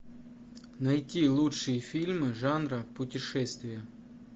найти лучшие фильмы жанра путешествия